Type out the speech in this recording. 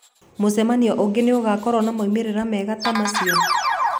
Mũcemanio ũngĩ nĩ ũgaakorũo na moimĩrĩro mega ta macio?